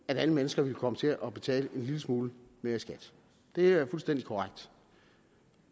at alle mennesker ville komme til at betale en lille smule mere i skat det er fuldstændig korrekt